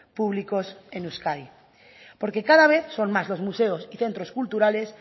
públicos en euskadi porque cada vez son más los museos y centros culturales